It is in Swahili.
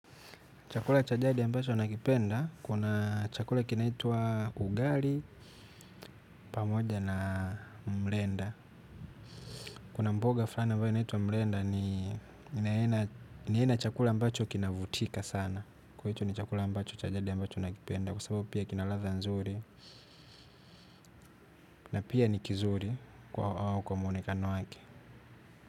Chakula cha jadi ambacho nakipenda, kuna chakula kinaitwa ugali pamoja na mrenda. Kuna mboga flani ambayo inaitwa mrenda ni aina ya chakula ambacho kinavutika sana. Kwa hicho ni chakula ambacho cha jadi ambacho nakipenda kwa sababu pia kina ladha nzuri na pia ni kizuri kwa mwonekano wake.